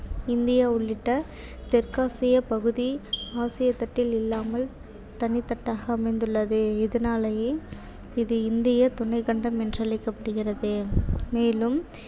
India உள்ளிட்ட தெற்காசியப்பகுதி ஆசிய தட்டில் இல்லாமல் தனித்தட்டாக அமைந்துள்ளது. இதனாலேயே இது இந்தியத் துணைக் கண்டம் என்று அழைக்கப்படுகிறது மேலும்